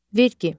Vergi.